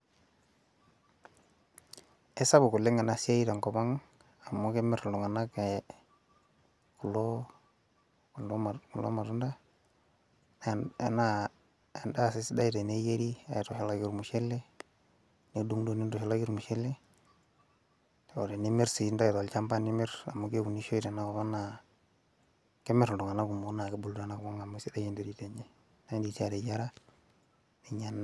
esapuk oleng ena siai tenkop ang amu kemir iltunganak kulo matunda. naa edaa sii sidai teneyieri aitushulaki ormushele, nidungidung nitushulaki ormushele, ashu aatenimir sii nintayu tolchampa, amu keunishoi sii, tenakop ang, naa kemir iltunganak kumok kulo nganayio. neeku idim ateyiara.